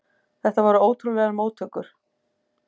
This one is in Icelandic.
Þetta voru ótrúlegar móttökur.